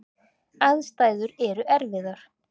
Aðstæður eru erfiðar.